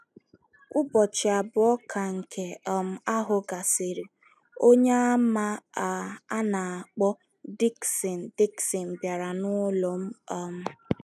Ụbọchị abụọ ka nke um ahụ gasịrị, Onyeàmà a um na - akpọ Diksịn Diksịn bịara n’ụlọ m. um